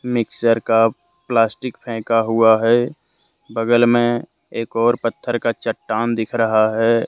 Mixer का plastic फेका हुआ है बगल में एक और पत्थर का चट्टान दिख रहा है।